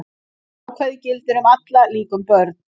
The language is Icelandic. Þetta ákvæði gildir um alla, líka um börn.